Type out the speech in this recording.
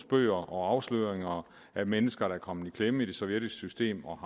bøger og afsløringer af mennesker der er kommet i klemme i det sovjetiske system og